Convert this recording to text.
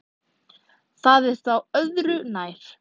Það er þó öðru nær.